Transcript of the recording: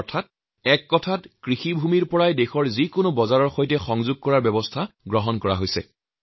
অৰ্থাৎ ইয়াৰদ্বাৰা একপ্ৰকাৰ খেতিপথাৰৰ পৰাই দেশৰ যি কোনো বজাৰৰ সৈতে যাতে সংযোগ কৰিব পৰা যায় তেনে এক ব্যৱস্থা গঢ়ি তোলা হৈছে